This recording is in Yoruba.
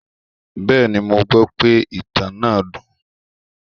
Bẹ́ẹ̀ni, mo gbọ́ pe ìtàn náà dùn.